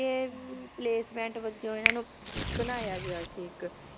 placement ਵਜੋਂ ਇਹਨਾਂ ਨੂੰ ਬਣਾਇਆ ਗਿਆ ਸੀ ਇੱਕ